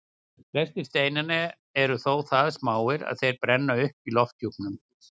Flestir steinanna eru þó það smáir að þeir brenna upp í lofthjúpnum.